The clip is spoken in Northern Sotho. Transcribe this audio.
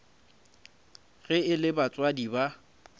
ge e le batswadi ba